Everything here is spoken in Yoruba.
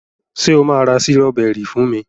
ṣe o ma ra Sírọ́bẹ́rì fún mí?